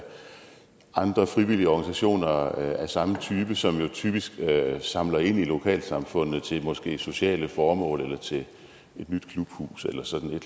andre frivillige organisationer af samme type som typisk samler ind i lokalsamfundet til sociale formål et nyt klubhus eller sådan